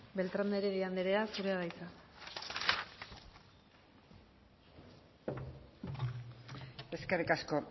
beltrán de heredia anderea zurea da hitza eskerrik asko